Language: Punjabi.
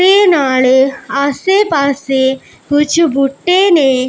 ਤੇ ਨਾਲੇ ਆਸੇ ਪਾਸੇ ਕੁਝ ਬੂਟੇ ਨੇ।